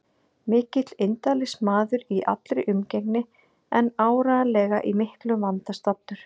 Mikill indælismaður í allri umgengni en áreiðanlega í miklum vanda staddur.